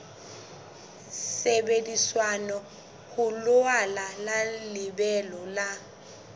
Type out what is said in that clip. sebediswa ho laola lebelo la